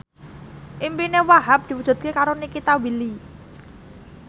impine Wahhab diwujudke karo Nikita Willy